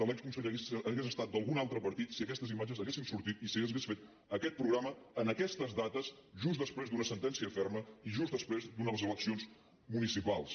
l’exconseller hagués estat d’algun altre partit si aquestes imatges haurien sortit i si s’hauria fet aquest programa en aquestes dates just després d’una sentència ferma i just després d’unes eleccions municipals